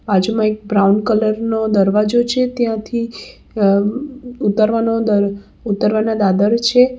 બાજુમાં એક brown colour નો દરવાજો છે ત્યાંથી ઉતરવાનો દર ઉતારવાના દાદર છે.